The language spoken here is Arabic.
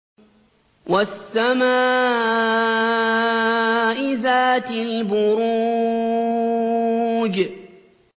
وَالسَّمَاءِ ذَاتِ الْبُرُوجِ